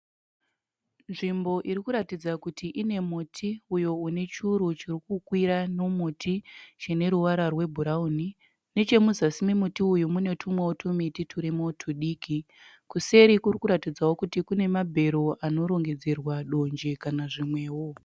Nzvimbo iri kuratidza kuti ine muti uyo unechuru chirikukwira nemuti chineruvara rwe bhurawuni. Nechemuzasi memuti uyu mune tumiti turimo tudiki. Kuseri kurikuratidzawo mabhero anorongedzerwa donje kana zvimwewo.